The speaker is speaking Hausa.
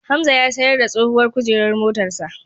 Hamza ya sayar da tsohuwar kujeran motar sa.